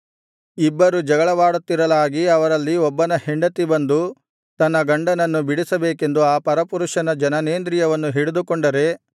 ಇಬ್ಬರು ಜಗಳವಾಡುತ್ತಿರಲಾಗಿ ಅವರಲ್ಲಿ ಒಬ್ಬನ ಹೆಂಡತಿ ಬಂದು ತನ್ನ ಗಂಡನನ್ನು ಬಿಡಿಸಬೇಕೆಂದು ಆ ಪರಪುರುಷನ ಜನನೇಂದ್ರಿಯವನ್ನು ಹಿಡಿದುಕೊಂಡರೆ